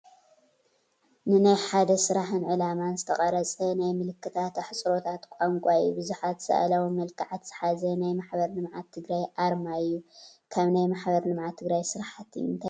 ኣርማ፡- ንናይ ሓደ ስራሕን ዕላማን ዝተቐረፀ ናይ ምልክታትን ኣሕፅሮታት ቋንቋ እዩ፡፡ ብዙሓት ስአላዊ መልክዓት ዝሓዘ ናይ ማሕበር ልምዓት ትግራይ ኣርማ እዩ፡፡ ካብ ናይ ማ/ል/ት ስራሕቲ እንታይ ትፈልጡ?